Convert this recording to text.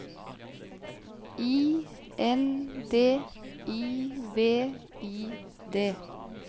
I N D I V I D